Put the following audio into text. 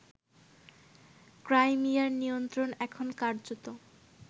ক্রাইমিয়ার নিয়ন্ত্রণ এখন কার্যত